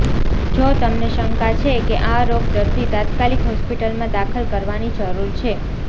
જો તમને શંકા છે કે આ રોગ દર્દી તાત્કાલિક હોસ્પિટલમાં દાખલ કરવાની જરૂર છે